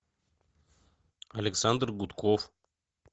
александр гудков